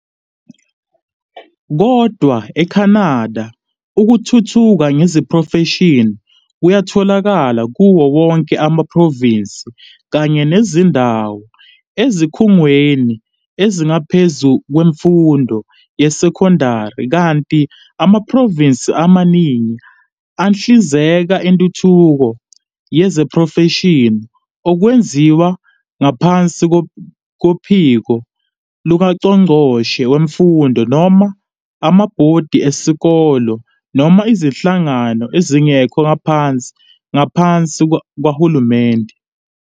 Kodwa e-Canada, ukuthuthuka ngezeprofeshini kuyatholakala kuwo wonke amaprovinsi kanye nezindawo, ezikhungweni ezingaphezulu kwe kwemfundo yesekondari kanti amaProvinsi amaningi ahlinzeka intuthuko yezeprofeshini okwenziwa ngaphansi kophiko lukangqongqoshe wemfundo noma amabhodi ezikole noma izinhlangano ezingekho ngaphansi kukahulumeni.